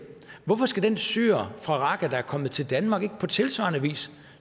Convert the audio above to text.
hvorfor skal den syrer fra raqqa der er kommet til danmark ikke på tilsvarende vis